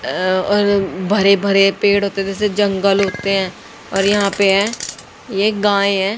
अह और भरे भरे पेड़ होते हैं जैसे जंगल होते हैं और यहां पे हैं ये गाय हैं।